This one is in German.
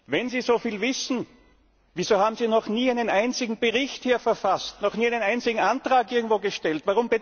Wenn Sie so viel wissen, wieso haben Sie noch nie einen einzigen Bericht hier verfasst, noch nie einen einzigen Antrag irgendwo gestellt?